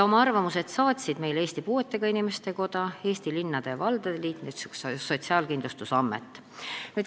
Oma arvamuse saatsid meile Eesti Puuetega Inimeste Koda, Eesti Linnade ja Valdade Liit ning Sotsiaalkindlustusamet.